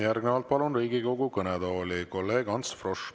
Järgnevalt palun Riigikogu kõnetooli kolleeg Ants Froschi.